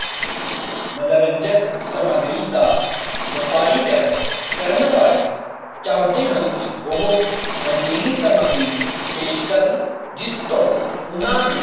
ਮਨੋਰੰਜਕ ਸਮੱਗਰੀ ਦਾ ਵਪਾਰੀ ਕਰਨ ਵਾਲੇ ਚੌਂਦੇ ਹਨ ਕਿ ਉਹ ਅਜੇਹੀ ਸਮੱਗਰੀ ਪੇਸ਼ ਕਰਨ ਜਿਸਤੋ ਓਨਾ ਨੂੰ